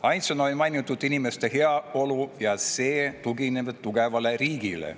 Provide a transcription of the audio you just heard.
Ainsana oli seal mainitud inimeste heaolu ja seda, et see tugineb tugevale riigile.